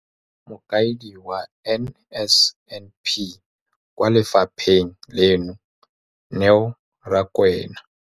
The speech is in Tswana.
Mokaedi wa NSNP kwa lefapheng leno, Neo Rakwena.